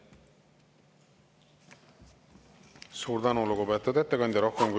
Suur tänu, lugupeetud ettekandja!